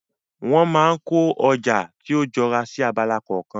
Wọ́n máa kó ọjà tí ó jọra sí abala kọ̀ọ̀kan.